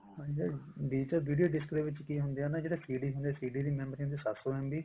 ਹਾਂਜੀ ਹਾਂ digital video disk ਦੇ ਵਿੱਚ ਕੀ ਹੁੰਦਾ ਜਿਹੜੀ CD ਹੁੰਦੀ ਆ CD ਦੀ memory ਹੁੰਦੀ ਆ ਸੱਤ ਸੋ MB